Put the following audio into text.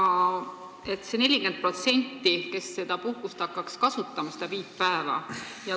Te ütlesite, et 40% hakkaks seda puhkust kasutama, seda viit päeva.